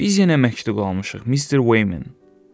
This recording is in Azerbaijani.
Biz yenə məktub almışıq, Mister Wayman.